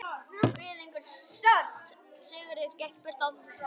Sigurður gekk burt án þess að svara.